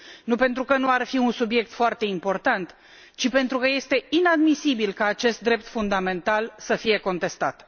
Nu pentru că nu ar fi un subiect foarte important, ci pentru că este inadmisibil ca acest drept fundamental să fie contestat.